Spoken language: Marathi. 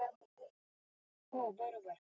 हो बरोबर